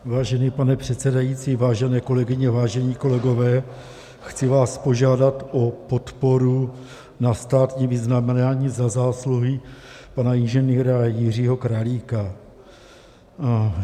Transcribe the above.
Vážený pane předsedající, vážené kolegyně, vážení kolegové, chci vás požádat o podporu na státní vyznamenání Za zásluhy pana inženýra Jiřího Králíka.